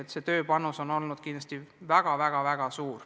Kogu see töine panus on kahtlemata olnud väga-väga suur.